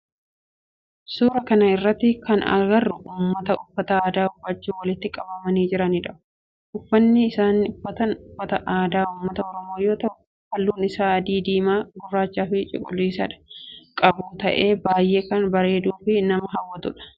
Suuraa kana irratti kan agarru ummata uffata aadaa uffachun walitti qabamanii jiranidha. Uffanni isaan uffatan uffata aadaa ummata oromoo yoo ta'u halluun isaa adii, diimaa, gurraacha fi cuqilisa kan qabu ta'ee baayyee kan bareeduu fi nama hawwatudha.